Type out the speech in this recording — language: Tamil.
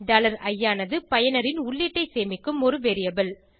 i ஆனது பயனரின் உள்ளீட்டை சேமிக்கும் ஒரு வேரியபிள்